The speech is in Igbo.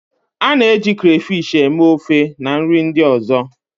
A na-eji crayfish eme ofe na nri ndị ọzọ.